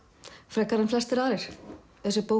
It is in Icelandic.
frekar en flestir aðrir þessi bók